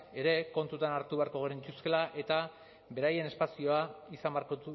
ere kontutan hartu beharko genituzkeela eta beraien espazioa izan beharko